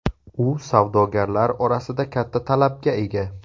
U savdogarlar orasida katta talabga ega.